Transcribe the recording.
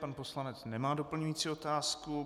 Pan poslanec nemá doplňující otázku.